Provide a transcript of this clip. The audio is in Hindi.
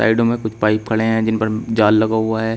साइडों में कुछ पाइप खड़े हैं जिन पर जाल लगा हुआ है।